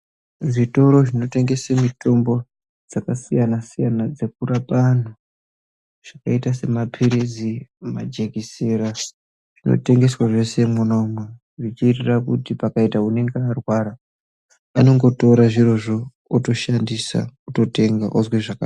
Zvitoro zvinotengese mitombo dzakasiyana siyana dzekurapa antu, zvakaita semapirizi majekisera zvinotengeswa zveshe mwona imwomwo zvinoita kuti kana muntu einge arwara anongotora zvirozvo otoshandisa ototenga ozwe zvakanaka.